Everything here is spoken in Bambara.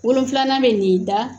Wolonfilanan bɛ nin da